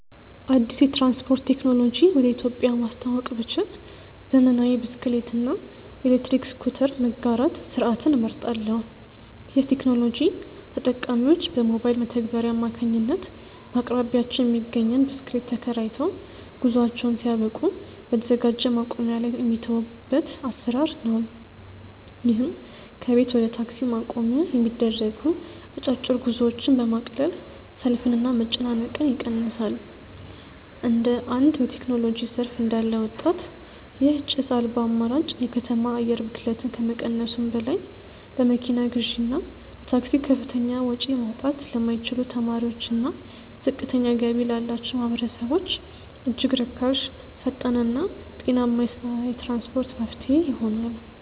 አዲስ የትራንስፖርት ቴክኖሎጂ ወደ ኢትዮጵያ ማስተዋወቅ ብችል፣ ዘመናዊ የብስክሌት እና የኤሌክትሪክ ስኩተር መጋራት ስርዓትን እመርጣለሁ። ይህ ቴክኖሎጂ ተጠቃሚዎች በሞባይል መተግበሪያ አማካኝነት በአቅራቢያቸው የሚገኝን ብስክሌት ተከራይተው፣ ጉዟቸውን ሲያበቁ በተዘጋጀ ማቆሚያ ላይ የሚተዉበት አሰራር ነው። ይህም ከቤት ወደ ታክሲ ማቆሚያ የሚደረጉ አጫጭር ጉዞዎችን በማቅለል ሰልፍንና መጨናነቅን ይቀንሳል። እንደ አንድ በቴክኖሎጂ ዘርፍ እንዳለ ወጣት፣ ይህ ጭስ አልባ አማራጭ የከተማ አየር ብክለትን ከመቀነሱም በላይ፣ ለመኪና ግዢና ለታክሲ ከፍተኛ ወጪ ማውጣት ለማይችሉ ተማሪዎችና ዝቅተኛ ገቢ ላላቸው ማህበረሰቦች እጅግ ርካሽ፣ ፈጣንና ጤናማ የትራንስፖርት መፍትሄ ይሆናል።